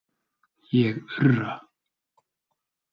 Ég urra.